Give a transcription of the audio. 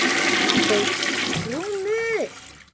JÓN BEYKIR: Rúmur!